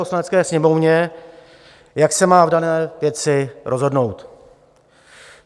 Poslanecké sněmovně, jak se má v dané věci rozhodnout.